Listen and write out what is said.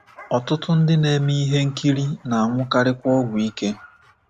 Ọtụtụ ndị na-eme ihe nkiri na-anwụkarikwa ọgwụ ike.